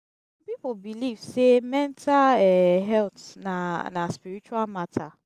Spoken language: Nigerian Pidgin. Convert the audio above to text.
som pipo belief sey mental um health na na spiritual mata